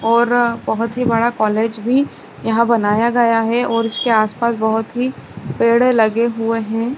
और अ बोहोत ही बड़ा कॉलेज भी यहाँ बनाया गया है और इसके आस-पास बोहोत ही पेड़ लगे हुए हैं।